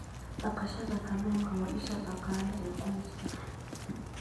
Dhaqashada kalluunka waa isha dhaqaale ee qoyska.